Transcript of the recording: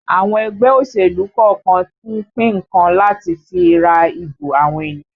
Àwọn ẹgbẹ́ òṣèlú kọ̀ọ̀kan ń pín nǹkan láti fi ra ìbò àwọn ènìyàn